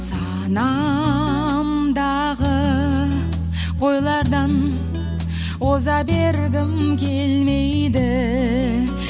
санамдағы ойлардан оза бергім келмейді